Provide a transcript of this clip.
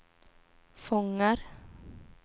fångar